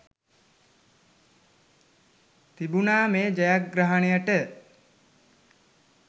තිබුණා මේ ජයග්‍රහණයට.